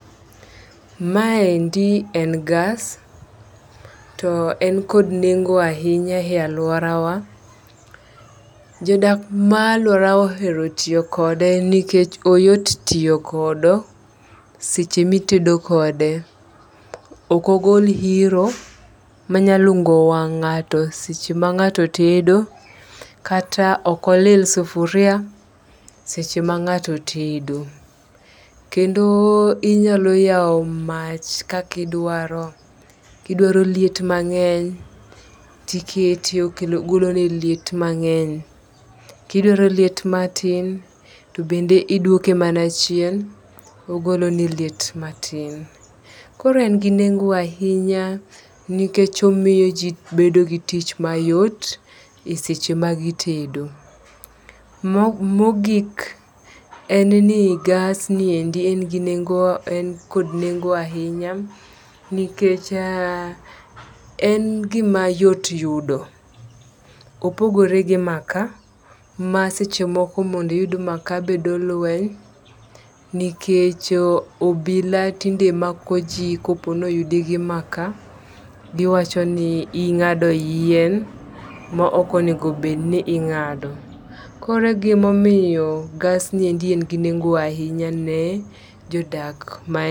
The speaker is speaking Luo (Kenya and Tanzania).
Maendi en gas to en kod nengo ahinya e aluorawa. Jodak maluorwa ohero tiyo kode nikech ohero tiyo kodo seche mitedo kode oko gol yiro manya lungo wang' ng'ato seche ma ng'ato tedo kata okolil sufria seche ma ngato tedo. Kendo inyalo yawo mach kaki dwaro kidwaro liet mang'eny tikete okelo ogolo ni liet mang'eny , kidwaro liet matin to bende idwoke mana chien ogolo ni liet matin .Koro en gi nengo ahinya nikech omiyo jii bedo gi tich mayot eseche ma gitedo. Ma mogik en gi gas niendi en gi nengo en kod nengo ahinya nikech a en gima yot yudo . Opogore gi makaa ma seche moko mondi yud makaa bedo lweny nikech o obila tinde mako jii kopo ni oyudi gi makaa giwacho ni ing'ado yien mo okonego bed ni ing'ado. Kore gimomiyo gas ni endi en gi nengo ahinya ne jodak